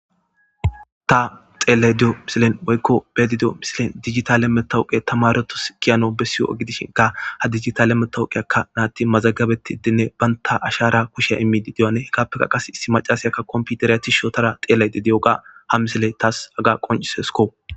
ta xeellay diyo misilen woykko bedidiyo misilen digitale metawuqe tamaretos kiyano bessiyo gidishinka ha digitale metawuqey akka naatti mazagabetti dinne baynta ashara kushiya immidi diyane hekappeka qas issi macasayakka komputereya tishotara xeelayde di7oga ha misile taas haga qoncisesko